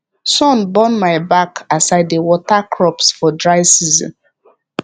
sun burn my back as i dey water crops for dry season